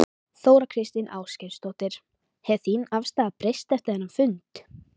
Þóra Kristín Ásgeirsdóttir: Hefur þín afstaða breyst eftir þennan fund?